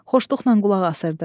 Xoşluqla qulaq asırdı.